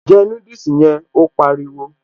Jẹ núdùsì yẹn', Ó pariwo